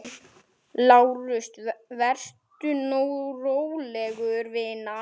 LÁRUS: Vertu nú róleg, vina.